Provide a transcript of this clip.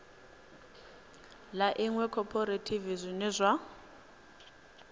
ḽa iṅwe khophorethivi zwine zwa